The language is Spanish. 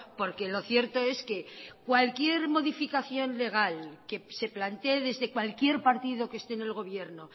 porque lo cierto es que cualquier modificación legal que se plantee desde cualquier partido que esté en el gobierno